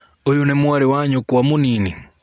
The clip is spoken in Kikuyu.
ũyũ nĩ mwarĩ wa nyũkwa mũnini?